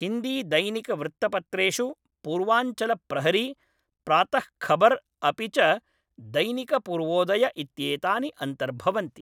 हिन्दीदैनिकवृत्तपत्रेषु पूर्वाञ्चलप्रहरी, प्रातःखबर् अपि च दैनिकपूर्वोदय इत्येतानि अन्तर्भवन्ति।